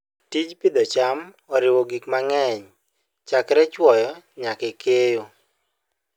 Tij pidho cham oriwo gik mang'eny chakre chwoyo nyaka keyo.